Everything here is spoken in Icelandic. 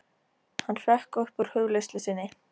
Hann hrökk upp úr hugleiðslu sinni.